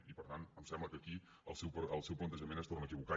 i per tant em sembla que aquí el seu plantejament es torna a equivocar